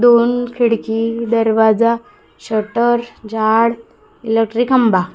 दोन खिडकी दरवाजा शटर झाड इलेक्ट्रिक खंबा--